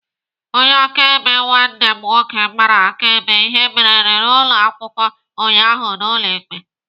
Onye akaebe nwanne m nwoke gbara akaebe ihe merenụ n'ụlọ akwụkwọ ụnyaahụ n'ụlọ ikpe.